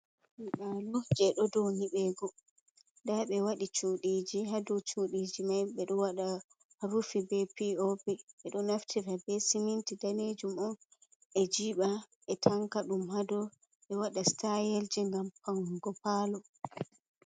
"Nyiɓalo" palo je dou nyibego nda ɓe waɗi chuɗiji ha dou chuɗiji mai ɓeɗo waɗa rufi be pi o pi ɓeɗo naftira be siminti danejum on ɓe jiba ɓe tanka ɗum ha dou ɓe waɗa stayelji ngam faunugo palo.